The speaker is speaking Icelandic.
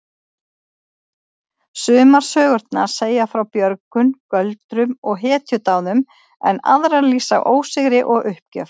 Sumar sögurnar segja frá björgun, göldrum og hetjudáðum en aðrar lýsa ósigri og uppgjöf.